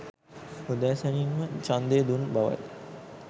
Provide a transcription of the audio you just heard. උදෑසනින්ම ඡන්දය දුන් බවයි